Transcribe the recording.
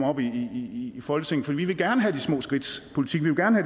op i folketinget for vi vil gerne have de små skridts politik vi vil gerne